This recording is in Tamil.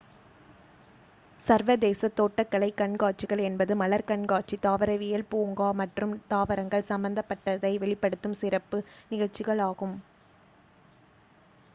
சர்வதேச தோட்டக்கலை கண்காட்சிகள் என்பது மலர் கண்காட்சி தாவரவியல் பூங்கா மற்றும் தாவரங்கள் சம்பந்தப்பட்டதை வெளிப்படுத்தும் சிறப்பு நிகழ்சிகள் ஆகும்